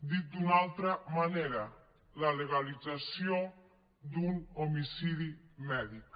dit d’una altra manera la legalització d’un homicidi mèdic